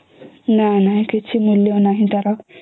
ନାଇଁ ନାଇଁ କିଛି ମୂଲ୍ୟ ନାହିଁ ତାର